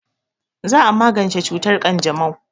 Za a magance cutar ƙanjamau.